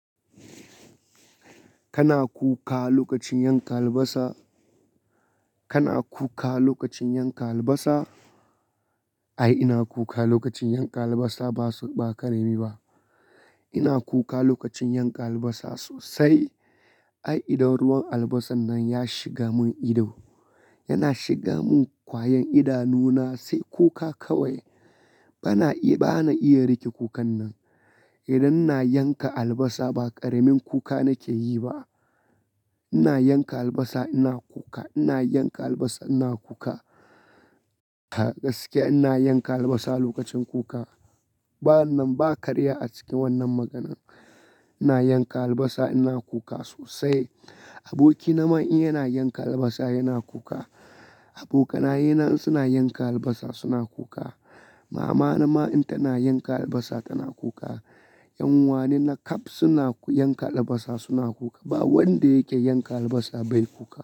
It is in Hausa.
Kana kuka lokacin yanka albasa? Kana kuka lokacin yanka albasa? Ai ina kuka lokacin yanka albasa ba su ba karemi ba. Ina kuka lokacin yanka albasa sosai. Ai idan ruwan albasan nan ya shiga mun ido, yana shiga mun kwayan idanuna sai kuka kawai. Bana iya, bana iya rike kukan nan. Idan na yanka albasa ba karemin kuka nake yi ba. Ina yanka albasa ina kuka, ina yanka albasa ina kuka. Ga gaske ina yanka albasa lokacin kuka. Ba nan ba karya a cikin wannan maganan. Ina yanka albasa ina kuka sosai. Aboki na man in yana yanka albasa yana kuka. Abokaina suna yanka albasa suna kuka. Mama na man in tana yanka albasa tana kuka. 'Yan uwa ne na ƙab suna yanka albasa suna kuka. Ba wanda yake yanka albasa bai kuka.